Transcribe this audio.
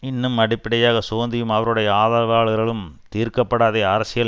இன்னும் அடிப்படையாக சோந்தியும் அவருடைய ஆதரவாளர்களும் தீர்க்க படாத அரசியல்